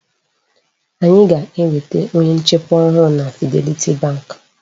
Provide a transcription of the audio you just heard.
Anyị ga-enweta onye nchekwa ọhụụ na Fidelity bank.